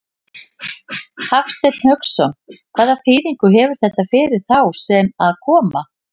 Hafsteinn Hauksson: Hvaða þýðingu hefur þetta fyrir þá sem að koma?